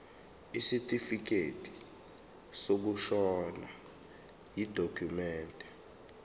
isitifikedi sokushona yidokhumende